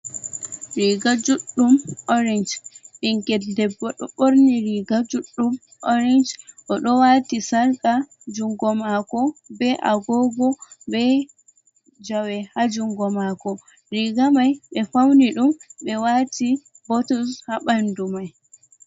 Riiga juɗɗum orange, ɓinngel debbo ɗo ɓoorni riiga juɗɗum orange, o ɗo waati sarka, junngo maako bee agoogo bee jawe haa junngo mako, riiga may ɓe fawni ɗum, ɓe waati botuns haa ɓanndu may.